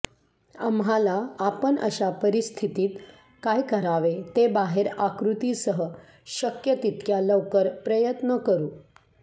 आम्हाला आपण अशा परिस्थितीत काय करावे ते बाहेर आकृती सह शक्य तितक्या लवकर प्रयत्न करू